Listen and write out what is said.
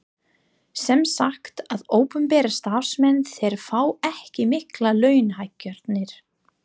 Sem sagt að opinberir starfsmenn þeir fá ekki miklar launahækkanir?